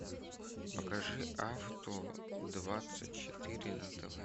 покажи авто двадцать четыре на тв